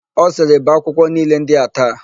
Ọ sịrị, "bee akwụkwọ niile ndị a taa"!